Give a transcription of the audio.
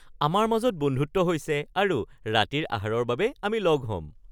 আমাৰ মাজত বন্ধুত্ব হৈছে আৰু ৰাতিৰ আহাৰৰ বাবে আমি লগ হ'ম